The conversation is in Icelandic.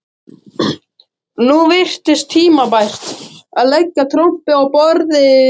Nú virtist tímabært að leggja trompið á borðið.